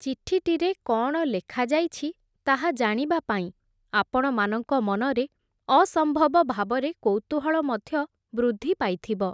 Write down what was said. ଚିଠିଟିରେ କଅଣ ଲେଖାଯାଇଛି, ତାହା ଜାଣିବା ପାଇଁ, ଆପଣମାନଙ୍କ ମନରେ ଅସମ୍ଭବ ଭାବରେ କୌତୂହଳ ମଧ୍ୟ, ବୃଦ୍ଧି ପାଇଥିବ ।